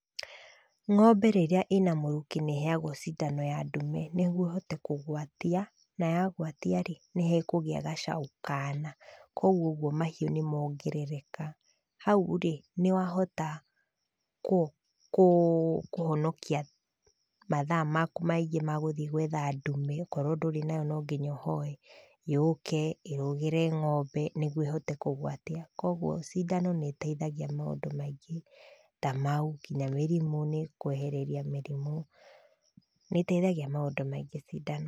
Ng'ombe rĩrĩa ĩna mũrukĩ nĩ ĩheagwo cindano ya ndume, nĩguo ĩhote kugeatia, na yagwatia-rĩ, nĩ hekũgĩa gacaũ kaana, kuoguo ũguo mahiũ nĩ mongerereka. Hau-rĩ, nĩ wahota kũ kũhonokia mathaa maku maingĩ ma gũthiĩ gwetha ndume, okorwo ndũrĩ nayo nonginya ũhoe, yũke, ĩrũgĩre ng'ombe, nĩguo ĩhote kũgwatia. Kuoguo cindano nĩ ĩteithagia maũndũ maingĩ, ta mau, kinya mĩrimũ, nĩ ĩgũkwehereria mĩrimũ, nĩ ĩteithagia maũndũ maingĩ cindano.